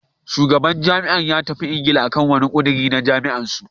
Shugaban jam'iyyar ya tafi Ingila akan wani ƙudiri na jam'iyyar su.